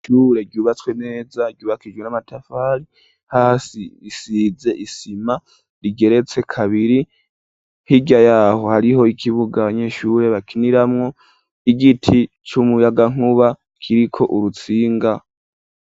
Ishure ryubatswe neza ryubakishijwe n'amatafari, hasi hasize isima rigeretse kabiri hirya yaho hariho ikibuga abanyeshure bakiniramwo igiti c'umuyagankuba kiriko urutsinga.